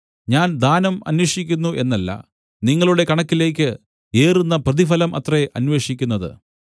ഞാൻ ദാനം അന്വേഷിക്കുന്നു എന്നല്ല നിങ്ങളുടെ കണക്കിലേക്ക് ഏറുന്ന പ്രതിഫലം അത്രേ അന്വേഷിക്കുന്നത്